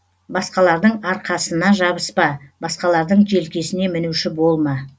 басқалардың арқасына жабыспа басқалардың желкесіне мінуші болма